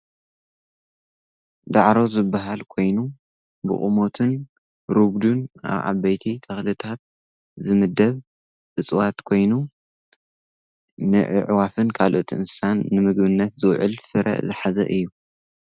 ዳዕሮ ዝበሃል ኮይኑ ብቑሞትን ሩጉዱን ኣብ ዓበይቲ ተኽልታት ዝምደብ እፅዋት ኮይኑ ንዕዕዋፍን ካልኦት እንስሳን ንምግብነት ዝውዕል ፍረ ዘሓዘ እዩ።